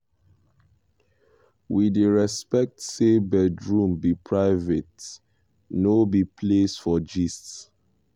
we dey respect say bedroom be private no be place for gist.